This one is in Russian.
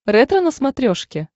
ретро на смотрешке